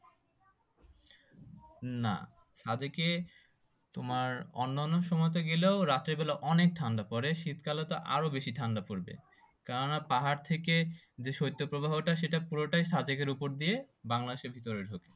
না সাদেকে তোমার অন্যন্য সময়তে গেলেও রাতের বেলাই অনেক ঠান্ডা পরে শীতকালে তো আরো বেশি ঠান্ডা পরবে কেননা পাহাড় থেকে যে সৈত প্রবাহ টা সেটা পুরোটাই সাদেকের উপর দিয়ে বাংলাদেশের ভিতরে ঢুকে